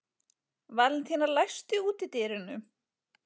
Valentína, læstu útidyrunum.